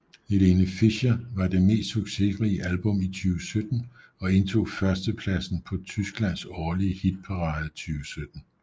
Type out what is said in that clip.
Helene Fischer var det mest succesrige album i 2017 og indtog førstepladsen på Tyskland årlige hitparade 2017